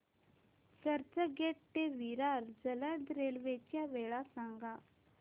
चर्चगेट ते विरार जलद रेल्वे च्या वेळा सांगा